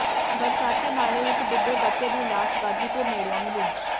ਬਰਸਾਤੀ ਨਾਲੇ ਵਿੱਚ ਡੁੱਬੇ ਬੱਚੇ ਦੀ ਲਾਸ਼ ਗਾਜੀਪੁਰ ਨੇੜਿਓਂ ਮਿਲੀ